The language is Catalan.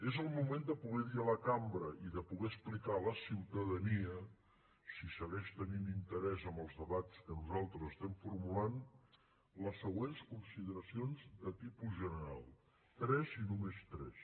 és el moment de poder dir a la cambra i de poder explicar a la ciutadania si segueix tenint interès en els debats que nosaltres estem formulant les següents consideracions de tipus general tres i només tres